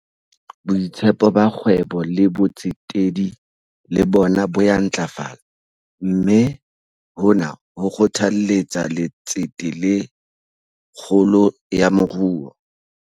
Boitshepo ba kgwebo le botsetedi le bona bo ya ntlafala, mme hona ho kgothalletsa letsete le kgolo ya moruo.